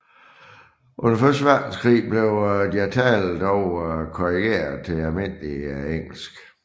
Under første verdenskrig blev deres tale dog korrigert til almindeligt engelsk